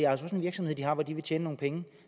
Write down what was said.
også en virksomhed de har hvor de vil tjene nogle penge